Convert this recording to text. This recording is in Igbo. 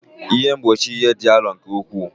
Ihe mgbochi ihe dị arọ nke ukwuu.